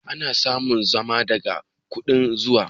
Ana samun zuma daga ƙudan zuma.